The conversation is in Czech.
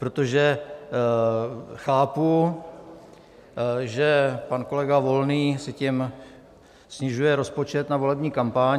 Protože chápu, že pan kolega Volný si tím snižuje rozpočet na volební kampaň.